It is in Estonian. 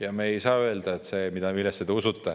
Ja me ei saa öelda, et see, millesse te usute